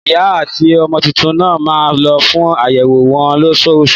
Ìyá àti ọmọ títún nà má lo fún àyẹwò wọn lọsosu